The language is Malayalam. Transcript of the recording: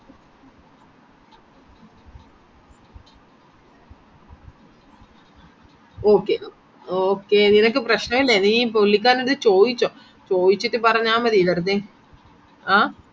okay okay നിനക്ക് പ്രശ്നായിലേ നീ പുള്ളിക്കാരൻഡ്ത് ചോയ്ച്ചോ ചോയിച്ചിട് പറഞ്ഞാമതി വെറുതെ ആ